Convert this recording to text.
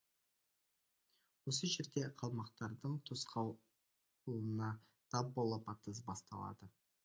осы жерде қалмақтардың тосқауылына тап болып атыс басталады